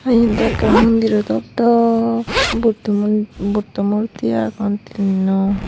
Ah eyan do ekke mondiro dok dok buddho mon buddho murti agon tinno.